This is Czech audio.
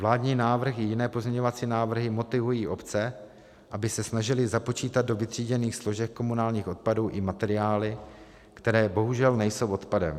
Vládní návrh i jiné pozměňovací návrhy motivují obce, aby se snažily započítat do vytříděných složek komunálních odpadů i materiály, které bohužel nejsou odpadem.